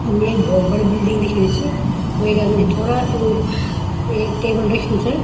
यु एक भोत बड़ी बिल्डिंग दिखेंणी च वेक अगने थोड़ा एक एक टेबल रख्युं च।